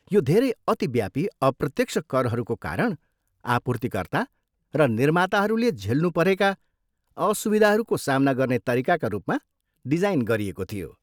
यो धेरै अतिव्यापी अप्रत्यक्ष करहरूको कारण आपूर्तिकर्ता र निर्माताहरूले झेल्नु परेका असुविधाहरूको सामना गर्ने तरिकाका रूपमा डिजाइन गरिएको थियो।